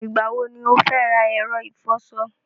Ìgbà wọ ni o fẹ́ ra ẹ̀rọ ìfọṣọ?